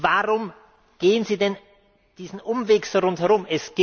Warum gehen Sie denn diesen Umweg rundherum?